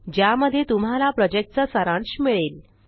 ज्यामध्ये तुम्हाला प्रॉजेक्टचा सारांश मिळेल